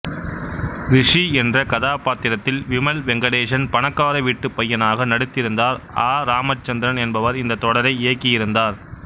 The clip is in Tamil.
ரிஷி என்ற கதாபாத்திரத்தில் விமல் வெங்கடேசன் பணக்காரவீட்டு பையனாக நடித்திருந்தார் அ இராமச்சந்திரன் என்பவர் இந்த தொடரை இயக்கியிருந்தார்